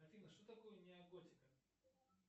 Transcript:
афина что такое неоготика